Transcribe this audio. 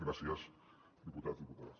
gràcies diputats i diputades